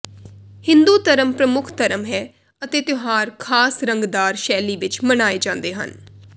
ਹਿੰਦੂ ਧਰਮ ਪ੍ਰਮੁਖ ਧਰਮ ਹੈ ਅਤੇ ਤਿਉਹਾਰ ਖਾਸ ਰੰਗਦਾਰ ਸ਼ੈਲੀ ਵਿਚ ਮਨਾਏ ਜਾਂਦੇ ਹਨ